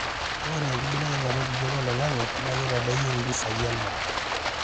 ore enkbelekenyata enkijape oloingangi naa keitadoyio impisai endaa